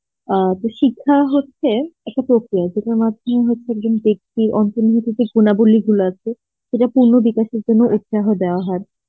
আ তো শিক্ষা হচ্ছে একটা পক্রিয়া যেটার মাধ্যমে হচ্ছে একজন বেক্তি আছে, সেটার পূর্ণ বিকাশের জন্য উৎসাহ দেওয়া হয়